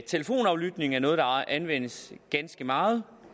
telefonaflytning er noget der anvendes ganske meget